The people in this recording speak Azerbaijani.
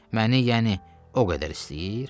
Məni yəni o qədər istəyir?